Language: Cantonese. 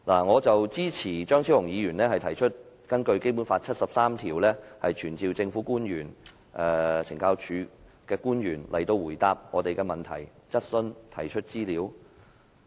我支持張超雄議員提出根據《基本法》第七十三條傳召懲教署官員到來回答我們的問題，接受質詢及提交資料。